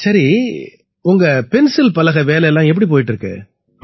சரி உங்க பென்சில்பலகை வேலை எப்படி போயிட்டு இருக்கு